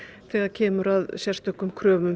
þegar kemur að sérstökum kröfum